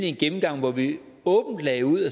en gennemgang hvor vi åbent lagde ud